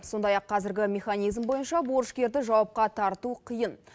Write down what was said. сондай ақ қазіргі механизм бойынша борышкерді жауапқа тарту қиын